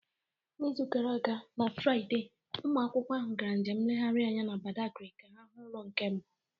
N'izu gara aga na Fraịde, ụmụ akwụkwọ ahụ gara njem nlegharị anya na Badagry ka ha hụ ụlọ nke mbụ